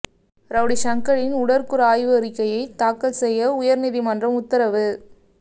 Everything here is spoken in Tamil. ரௌடி சங்கரின் உடற்கூறு ஆய்வு அறிக்கையை தாக்கல் செய்ய உயா்நீதிமன்றம் உத்தரவு